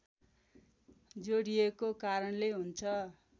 जोडिएको कारणले हुन्छ